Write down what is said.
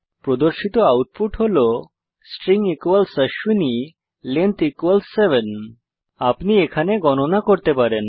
প্রদর্শিত আউটপুট হল string Ashwini length 7 আপনি এখানে গণনা করতে পারেন